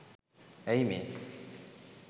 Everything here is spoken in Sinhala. ඇයි මේ?